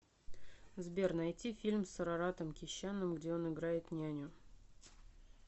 сбер найти фильм с араратом кещяном где он играет няню